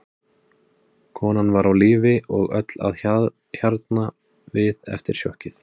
Konan var á lífi og öll að hjarna við eftir sjokkið.